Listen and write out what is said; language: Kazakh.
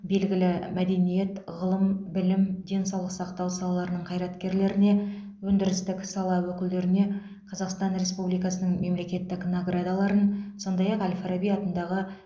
белгілі мәдениет ғылым білім денсаулық сақтау салаларының қайраткерлеріне өндірістік сала өкілдеріне қазақстан республикасының мемлекеттік наградаларын сондай ақ әл фараби атындағы